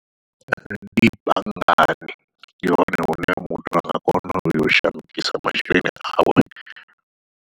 Ndi banngani ndi hone hune muthu anga kona uyo u shandukisa masheleni awe.